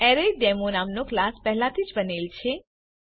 એરેસડેમો નામનો ક્લાસ પહેલાથી જ બનેલ છે